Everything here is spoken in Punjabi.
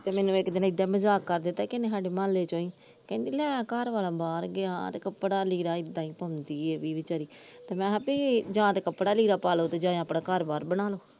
ਤੇ ਮੈਨੂੰ ਇਕ ਦਿਨ ਇਹਦੇ ਮਜਾਕ ਕਰਤਾ ਕਿਸੇ ਨੇ ਸਾਡੇ ਮੋਹਲੇ ਚੋ ਈ ਕਹਿੰਦੀ ਲੈ ਘਰਵਾਲਾ ਬਾਹਰ ਗਿਆ ਤੇ ਕੱਪੜਾ ਲੀੜਾ ਏਦੇ ਈ ਪਾਉਂਦੀ ਇਹ ਵੀ ਬਿਚਾਰੀ ਤੇ ਮੈ ਕਿਹਾ ਯਾ ਤਾ ਕੱਪੜਾ ਲੀੜਾ ਪਾਲੋ ਯਾ ਤਾ ਆਪਣਾ ਘਰ ਬਨਾਲੋ।